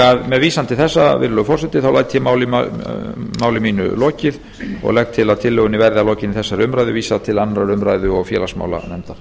grunnskóla með vísan til þessa virðulegur forseti læt ég máli mínu lokið og legg til að tillögunni verði að lokinni þessari umræðu vísað til annarrar umræðu og félagsmálanefndar